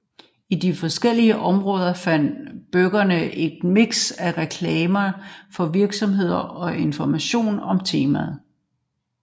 I de forskellige områder fandt brugerne et mix af reklamer for virksomheder og information om temaet